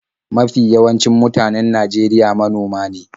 Mafi yawancin mutanen Najeriya manoma ne.